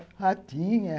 Ah, tinha!